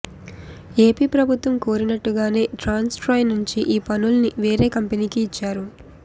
AP ప్రభుత్వం కోరినట్టుగానే Transstroy నుంచి ఈ పనుల్ని వేరే కంపెనీకి ఇచ్చారు